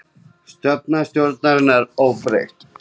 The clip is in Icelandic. Stefna stjórnarinnar óbreytt